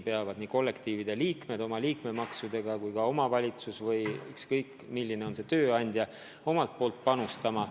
Nii kollektiivide liikmed oma liikmemaksudega kui ka omavalitsus või mõni teine tööandja peavad ka panustama.